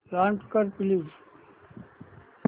launch कर please